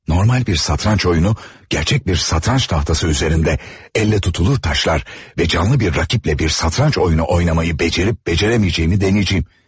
Normal bir satranç oyunu, gerçək bir satranç tahtası üzərində, əllə tutulur taşlar və canlı bir rəqiblə bir satranç oyunu oynamağı becərib-becərə bilməyəcəyimi denəyəcəyəm.